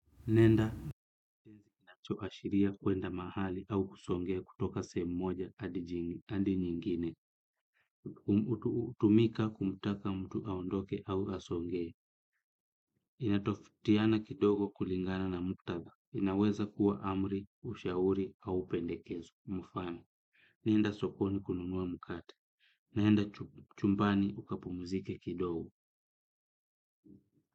Nenda inacho washiria kuenda mahali au kusongea kutoka sehemu moja adi jingi andi nyingine. Hutumika kumtaka mtu aondoke au asongee. Inatofautiana kidogo kulingana na muktadha inaweza kuwa amri, ushauri au pendekezo. Mfano nenda sokoni kununua mkate. Nenda chumbani ukapumzike kidogo.